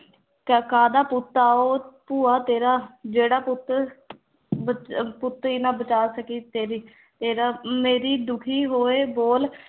ਕ ਕਾਹਦਾ ਪੁੱਤ ਆ ਉਹ ਭੂਆ ਤੇਰਾ ਜਿਹੜਾ ਪੁੱਤ ਬਚ ਪੁੱਤ ਹੀ ਨਾ ਬਚਾ ਸਕੀ ਤੇਰੀ, ਤੇਰਾ ਮੇਰੀ ਦੁੱਖੀ ਹੋਏ ਬੋਲ